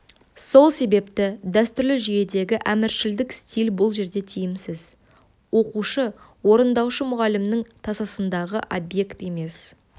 сол себепті дәстүрлі жүйедегі әміршілдік стиль бұл жерде тиімсіз оқушы орындаушы мұғалімнің тасасындағы объект емес